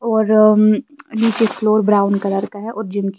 और उम्म नीचे फ्लोर ब्राउन कलर का है और जिम की--